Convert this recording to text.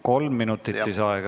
Kolm minutit lisaaega.